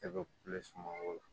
E bɛ